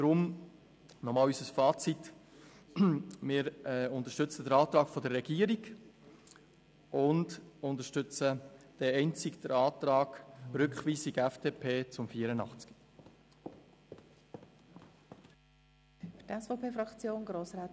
Deswegen noch einmal unser Fazit: Wir unterstützen den Antrag der Regierung und einzig den Antrag der FDP auf Rückweisung von Artikel 84.